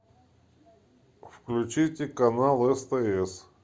включите канал стс